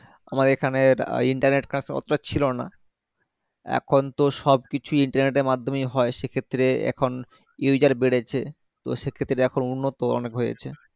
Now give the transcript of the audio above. আমার এখানে internet connection অতটা ছিলোনা এখনতো সবকিছুই internet এর মাধ্যমেই হয় সেক্ষেত্রে এখন user বেড়েছে সেক্ষেত্রে দেখো উন্নত অনেক হয়েছে